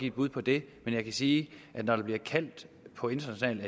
et bud på det men jeg kan sige at når der bliver kaldt på international